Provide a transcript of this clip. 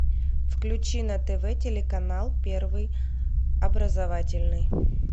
включи на тв телеканал первый образовательный